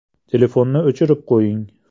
Telefonni o‘chirib qo‘ying.